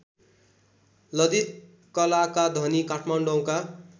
ललितकलाका धनी काठमाडौँका